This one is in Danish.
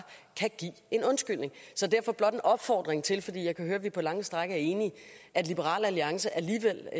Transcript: kan give en undskyldning så derfor blot en opfordring til fordi jeg kan høre vi på lange stræk er enige at liberal alliance alligevel